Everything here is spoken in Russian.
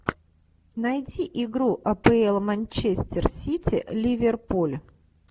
найти игру апл манчестер сити ливерпуль